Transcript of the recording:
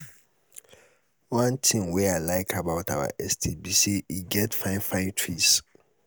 one thing wey i like about our estate be say e get fine fine trees